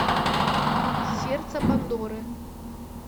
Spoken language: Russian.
сердце пандоры